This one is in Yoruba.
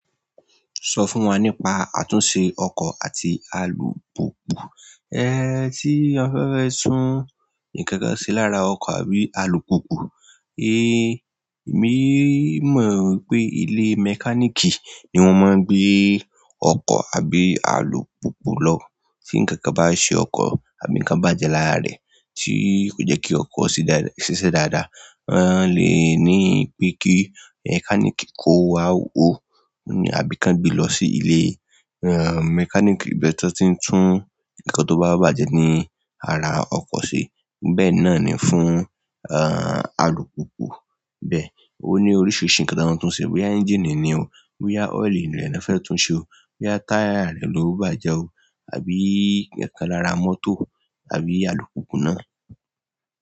Sọ fún wa nípa àtúnṣe ọkọ̀ àti alùpùpù. Ẹ̀ẹ́ tí a fẹ́ fẹ́ tún ǹkan kan ṣe lára ọkọ̀ àbí alùpùpù, e, emí mọ̀ pé ilé mẹkáníìkì ni wọ́n máa gbé ọkọ̀ àbí alùpùpù lọ. Tí ǹkankan bá se ọkọ̀ àbí ǹkan bá jẹ lára rẹ̀ tí kò jẹ́ kí ọkọ̀ se dáadáa ṣiṣẹ́ dáadáa, wọn lè ní pé kí mẹkáníìkì kó wá o ní àbí kan gbe lọ sí ilé, ẹ, mẹkáníìkì bí ẹni tó ti ń tún ǹkan tó bá bàjẹ́ ní ara ọkọ̀ se. Bẹ́ẹ̀ náà ni fún, ẹ, alùpùpù bẹ́ẹ̀. Ó ní oríṣiríṣi ǹkan tọ máa tun se bóyá éngiìnì ni o, bóyá oil rẹ ná fẹ́ tún se. Bóyá táyà rẹ lo bàjẹ́ o tàbí ǹkankan lára mọ́tò tàbí alùpùpù náà.